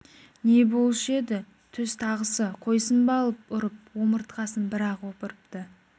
не болушы еді түз тағысы қойсын ба алып ұрып омыртқасын бір-ақ опырыпты